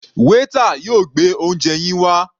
Waiter yóò gbé oúnje yín wá.